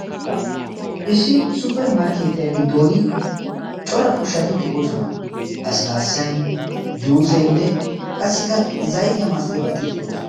Issi supperimarkkeetiyaa giddon cora ushati de'oosona. laassilaassay juuseenne qassikka zaytee maastiyabaati de'oosona.